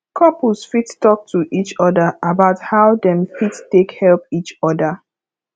couples fit talk to each oda about how dem fit take help each oda